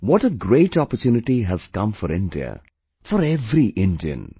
What a great opportunity has come for India, for every Indian